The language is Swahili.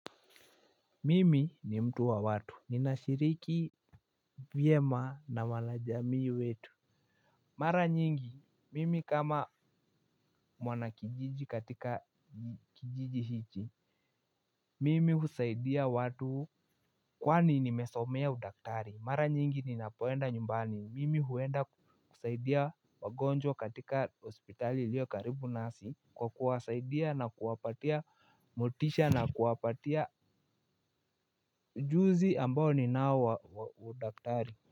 Mimi ni mtu wa watu, ninashiriki vyema na wanajamii wetu. Mara nyingi, mimi kama mwana kijiji katika kijiji hichi, mimi husaidia watu. Kwani nimesomea udaktari, mara nyingi ninapoenda nyumbani, mimi huenda kusaidia wagonjwa katika hospitali iliyo karibu nasi kwa kuwasaidia na kuwapatia motisha na kuwapatia juzi ambao ninawa udaktari.